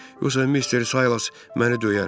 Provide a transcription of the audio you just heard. Yoxsa Mister Saylas məni döyər.